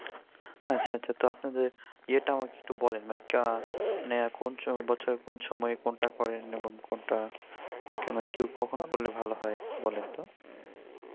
আচ্ছা আচ্ছা তো আপনাদের ইয়েটা আমাকে একটু বলেন মানে মানে কোন বছরের কোন সময় কোনটা করেন এবং কোনটা কখন করলে ভাল হয় বলেন তো